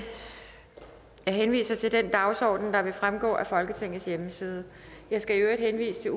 henviser til den dagsorden der vil fremgå af folketingets hjemmeside jeg skal i øvrigt henvise til